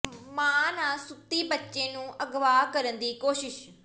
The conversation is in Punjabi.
ਮਾਂ ਨਾਲ ਸੁੱਤੀ ਬੱਚੀ ਨੂੰ ਅਗਵਾ ਕਰਨ ਦੀ ਕੋਸ਼ਿਸ਼